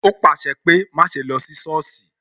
O pàṣẹ pé "má ṣe lọ sí sọ́ọ̀sì"